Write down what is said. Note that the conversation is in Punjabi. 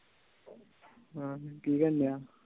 ਹਨ ਕਿ ਕਰਨ ਡੀਆਂ